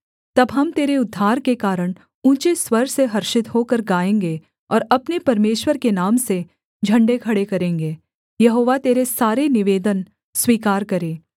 तब हम तेरे उद्धार के कारण ऊँचे स्वर से हर्षित होकर गाएँगे और अपने परमेश्वर के नाम से झण्डे खड़े करेंगे यहोवा तेरे सारे निवेदन स्वीकार करे